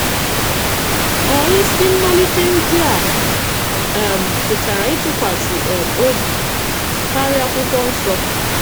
Ọ̀ isi mmalite ndị a a um pụtara ịtụkwasị um obi kárịa Akwụkwọ Nsọ?